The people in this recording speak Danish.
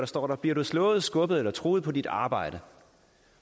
står der bliver du slået skubbet eller truet på dit arbejde